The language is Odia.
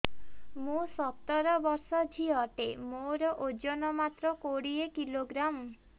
ମୁଁ ସତର ବର୍ଷ ଝିଅ ଟେ ମୋର ଓଜନ ମାତ୍ର କୋଡ଼ିଏ କିଲୋଗ୍ରାମ